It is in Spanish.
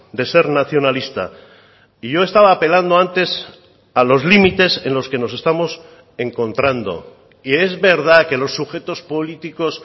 de ser nacionalista y yo estaba apelando antes a los límites en los que nos estamos encontrando y es verdad que los sujetos políticos